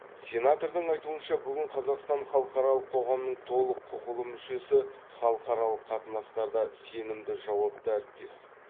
сенатордың айтуынша бүгін қазақстан халықаралық қоғамның толық құқылы мүшесі халықаралық қатынастарда сенімді жауапты әріптес